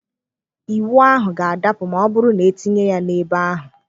Ịwụ ahụ ga-adapụ ma ọ bụrụ na etinye ya n'ebe ahụ.